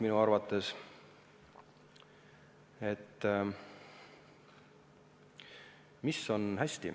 Mis on hästi?